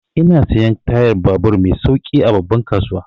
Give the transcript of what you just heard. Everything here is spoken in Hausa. Ina siyan tayan babur mai sauƙi a babban kasuwa.